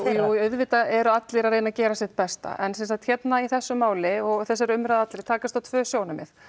jú auðvitað eru allir að reyna að gera sitt besta en hérna í þessu máli og þessari umræðu allri takast á tvö sjónarmið